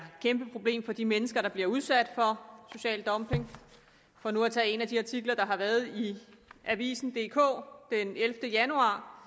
kæmpe problem for de mennesker der bliver udsat for social dumping for nu at tage en af de artikler der har været i avisendk den ellevte januar